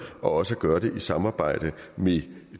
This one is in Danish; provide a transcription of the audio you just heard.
og også skal gøre det i samarbejde med